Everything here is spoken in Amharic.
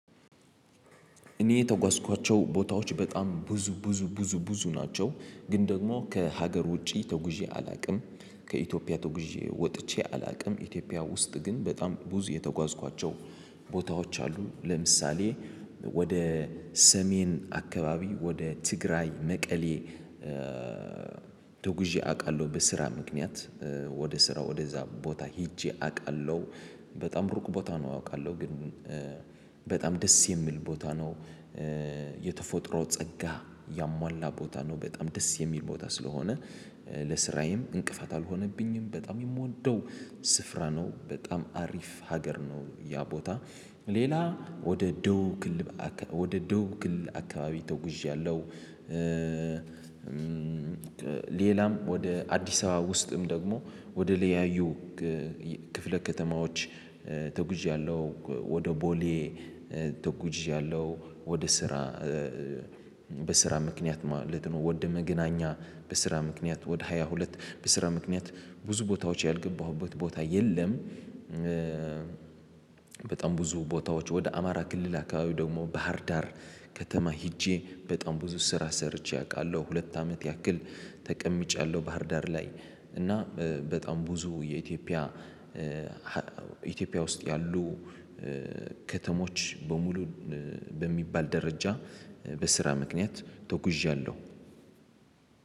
እኔ የተጓዝኳቸው ቦታዎች በጣም ብዙ ብዙ ብዙ ብዙ ናቸው ግን ደግሞ ከሀገር ውጪ ተጉዤ አላውቅም። ከኢትዮጵያ ተጉዤ ወጥቼ አላውቅም ኢትዮጵያ ውስጥ ግን በጣም ብዙ የተጓዝኳቸው ቦታዎች አሉ። ለምሳሌ ወደ ሰሜን አካባቢ ወደ ትግራይ መቀሌ። ተጉዤ አውቃለሁ በስራ ምክንያት ወደ ስራ ወደዛ ቦታ ሄጄ አውቃለሁ። በጣም ሩቅ ቦታ ነው አውቃለሁ ግን። በጣም ደስ የሚል ቦታ ነው። የተፈጥሮ ጸጋ ያሟላ ቦታ ነው። በጣም ደስ የሚል ቦታ ስለሆነ ለስራዬም እንቅፋት አልሆነብኝም። በጣም የምወደው ስፍራ ነው በጣም አሪፍ ሀገር ነው ያ ቦታ። ሌላ ወደ ደቡብ ክልል ወደ ደቡብ ክልል አካባቢ ተጉዣለሁ። ሌላም ወደ አዲስ አበባ ውስጥም ደግሞ ወደ ለያዩ ክፍለ ከተማዎች ተጉዣለሁ። ወደ ቦሌ ተጉዣለሁ። ወደ ስራ በስራ ምክንያት ማለት ነው። ወደ መገናኛ በስራ ምክንያት ወደ ሃያ ሁለት በስራ ምክንያት ብዙ ቦታዎች ያልገባሁበት ቦታ የለም። በጣም ብዙ ቦታዎች ወደ አማራ ክልል አካባቢው ደግሞ ባህር ዳር ከተማ ሄጄ በጣም ብዙ ስራ ሰርቼ አውቃለሁ ሁለት አመት ያክል ተቀምጫለሁ ባህርዳር ላይ። እና በጣም ብዙ የኢትዮጵያ ኢትዮጵያ ውስጥ ያሉ ከተሞች በሙሉ በሚባል ደረጃ በስራ ምክንያት ተጉዣለሁ።